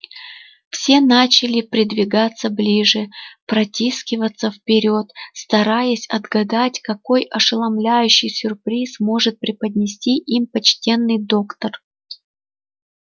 все начали придвигаться ближе протискиваться вперёд стараясь отгадать какой ошеломляющий сюрприз может преподнести им почтенный доктор